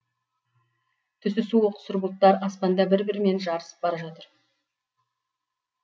түсі суық сұр бұлттар аспанда бір бірімен жарысып бара жатыр